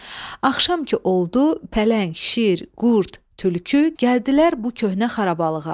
Axşam ki oldu, pələng, şir, qurd, tülkü gəldilər bu köhnə xarabalıqa.